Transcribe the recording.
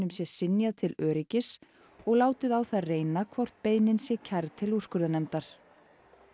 sé synjað til öryggis og látið á það reyna hvort beiðnin sé kærð til úrskurðarnefndar